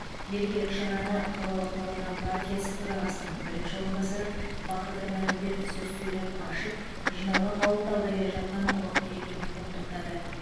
мерекелік шараны қалалық нұр отан партиясы төрағасының бірінші орынбасары бахадыр нарымбетов сөз сөйлеп ашып жиналған қауымды алда келе жатқан ұлық мерекемен құттықтады